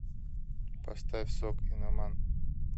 поставь согинаман